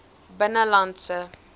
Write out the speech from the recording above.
binnelandse